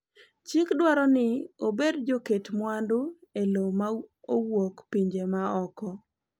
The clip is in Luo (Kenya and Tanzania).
Chik dwaro ni obed joket mwandu e lowo ma owuok pinje ma oko.